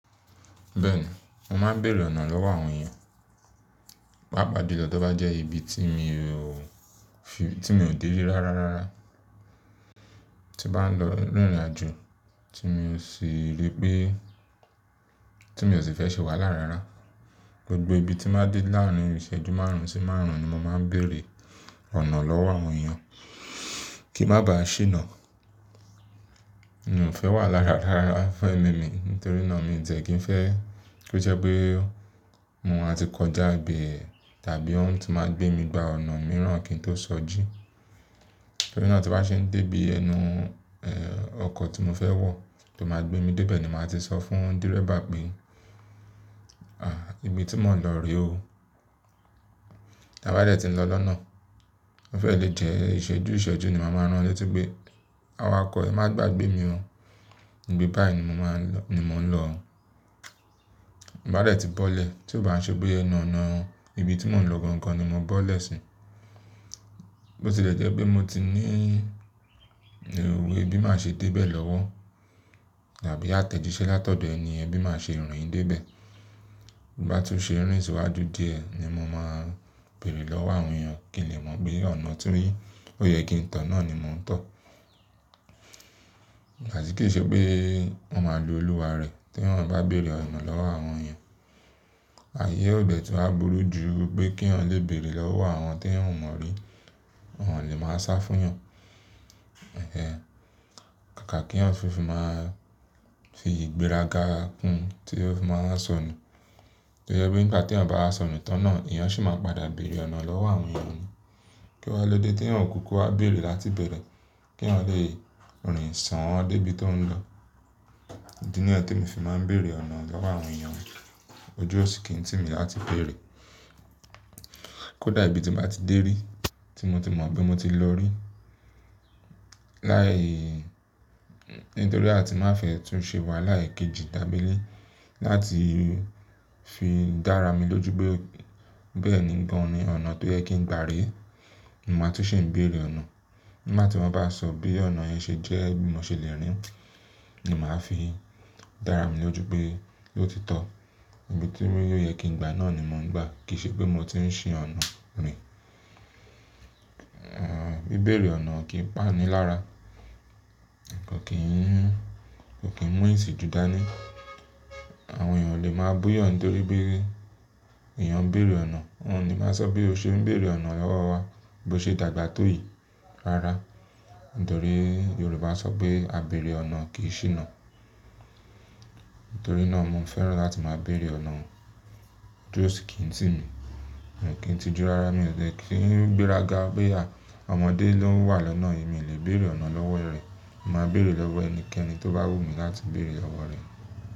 Bẹ́ẹ̀ni, mo máa ń bèèrè ọ̀nà lọ́wọ́ àwọn èèyàn, pàápàá ju lọ tí ó bá jẹ́ ibi tí mo ò dé rí rárá rárá, tí bá ń lọ rírinàjú tí mo sì rí pé, tí mo sì fẹ́ ṣe wààlá rárá. Gbogbo ibi tí máa ń dé láàárín ìṣẹ́jú márùn-ún sí márùn-ún ni mo máa ń bèèrè ọ̀nà lọ́wọ́ àwọn èèyàn kí má ba à ṣíná. Mi ò fẹ́ wàalá rárá fún ẹ̀mí mi nítorí náà mi ò tiẹ́ kí n fẹ́ kí ó jẹ́ pé mo máa ti kọjá ibẹ̀ tàbí wọ́n ti máa gbé mi gba ọ̀nà mìíràn kí n tó sọjí. Nítorí náà tí n bá ṣe ń dé bí ẹnu ọkọ̀ tí mo fẹ́ wọ̀ tó máa gbé mi dé ibẹ̀ ni mo máa ti sọ fún dírẹ̀bà pé, "à, ibi tí mò ń lọ rè o." Bá dẹ̀ tí mo lọ lọ́nà, ó fẹ́ lè jẹ́ ìṣẹ́jú ìṣẹ́jú ni màá ràn létí pé, "àwàkọ̀, ẹ má gba gbé mi o. Nítorí náà tí n bá ṣe ń dé bí ẹnu ọkọ̀ tí mo fẹ́ wọ̀ tó máa gbé mi dé ibẹ̀ ni mo máa ti sọ fún dírẹ̀bà pé, "à, ibi tí mò ń lọ rè o." Bá dẹ̀ tí ń bọ́lẹ̀, tí ó bá ń ṣe pé ẹnu ọ̀nà ibi tí mò ń lọ gan-an ni mo bọ́lẹ̀ sí, bó ti lè jẹ́ pé mo ti ní ìwé bí máa ṣe dé ibẹ̀ lọ́wọ́ tàbí àtẹ̀jíṣẹ́ látọ̀dọ̀ ẹniyẹn bí máa ṣe rìn dé ibẹ̀. Bá tú ṣe rìn síwájú díẹ̀ ni mo máa ń bèèrè lọ́wọ́ àwọn èèyàn kí lè mọ bí ọ̀nà tó yẹ kí ń tọ̀ náà ni mò ń tọ̀. Ìgbàtí kí ṣe pé wọ́n máa lu olúwa rẹ̀ tí èèyàn bá bèèrè ọ̀nà lọ́wọ́ àwọn èèyàn. Ayé ò dẹ̀ tó á burú ju pé kí èèyàn lè bèèrè lọ́wọ́ àwọn tí èèyàn mọ̀ rí, wọ́n ò lè máa sá fún wọn. Ẹ̀hẹ̀n. Kàkà kí èèyàn fi máa fi ìgbéraga kún tí ó fi máa sọnù. Tó jẹ́ pé nígbà tí èèyàn bá sọnù tán náà, èèyàn sì máa padà bèèrè ọ̀nà lọ́wọ́ àwọn èèyàn ni. Kí wá ló dé tí èèyàn kùúkù wá bèèrè láti ibẹ̀rẹ̀ kí èèyàn lè rìn sán an dé ibi tó ń lọ. Idí nyẹ́n tí mo fi máa ń bèèrè ọ̀nà lọ́wọ́ àwọn èèyàn ojú òṣì kí ń tì mí láti bèèrè. Kódà ibi tí n bàá ti dé rí, tí mo ti mọ̀ bí mo ti lọ rí, láì nítorí a ti má fẹ́ tún ṣe wà láìkejì dábélé láti fi dára mi lójú pé bẹ́ẹ̀ ni gan-an ni ọ̀nà tó yẹ kí ń gba rè. Mo máa tún ṣi ń bèèrè ọ̀nà. Lá tí mọ bá sọ bí ọ̀nà yẹn ṣe jẹ́ bí mo ṣe lè rín ni màá fi dára mi lójú pé lótitọ́ ibi tí yóò yẹ kí ń gba náà ni mò ń gba kìí ṣe pé mo ti ń ṣì ọ̀nà mi. Bí ìbèèrè ọ̀nà kì í pani lára, kò kí ń mú ìtì ju dáa ní. Àwọn èèyàn ò lè máa bú èèyàn nítorí bí èèyàn ń bèèrè ọ̀nà, wọ́n ò ní máa sọ bí ó ṣe ń bèèrè ọ̀nà lọ́wọ́ wa bó ṣe dàgbà tó yìí rárá. Nítorí Yorùbá sọ pé "àbèrè ọ̀nà kì í ṣíná". Nítorí náà mo ń fẹ́ràn láti máa bèèrè ọ̀nà ojú òṣì kí ń tì mí. Kí n ti ju rárá mi ò tẹ́ kí ń gbéraga pé àwọn ọmọdé ló ń wà lọ́nà yìí mi lè bèèrè ọ̀nà lọ́wọ́ rẹ̀. Mo máa bèèrè lọ́wọ́ ẹnikẹ́ni tó bá wù mí láti bèèrè lọ̀wọ́ rẹ̀.